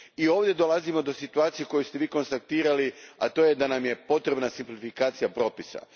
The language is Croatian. I ovdje dolazimo do situacije koju ste vi konstatirali, a to je da nam je potrebna simplifikacija propisa.